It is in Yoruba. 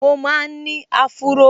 Mo máa n ní áfúró